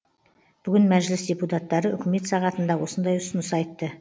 бүгін мәжіліс депутаттары үкімет сағатында осындай ұсыныс айтты